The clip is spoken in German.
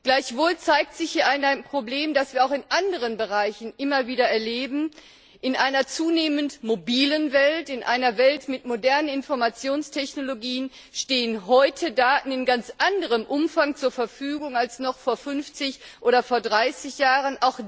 Gleichwohl zeigt sich hier ein Problem, das wir auch in anderen Bereichen immer wieder erleben In einer zunehmend mobilen Welt, in einer Welt mit modernen Informationstechnologien stehen heute Daten in ganz anderem Umfang zur Verfügung als noch vor 50 oder vor 30 Jahren.